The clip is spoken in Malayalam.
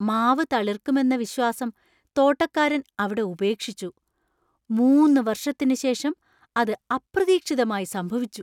മാവ് തളിർക്കുമെന്ന വിശ്വാസം തോട്ടക്കാരൻ അവിടെ ഉപേക്ഷിച്ചു, മൂന്ന് വർഷത്തിന് ശേഷം അത് അപ്രതീക്ഷിതമായി സംഭവിച്ചു.